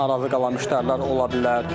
Narazı qalan müştərilər ola bilər.